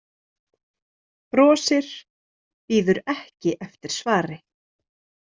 Brosir, bíður ekki eftir svari.